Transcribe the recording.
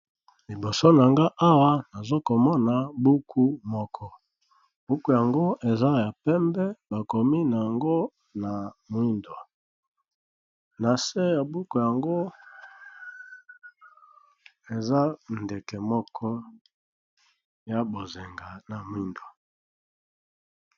Liboso na nga awa namoni buku moko eza ya pembe bakomi yango na moyindo nase ya buku koza ndeke moko ya langi ya bozenga na mwindo